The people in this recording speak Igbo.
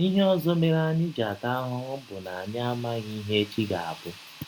Ihe ọzọ mere anyị ji ata ahụhụ bụ na anyị amaghị ihe echi ga - abụ.